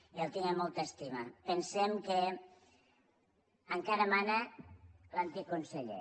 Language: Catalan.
i el tinc amb molta estima pensem que encara mana l’antic conseller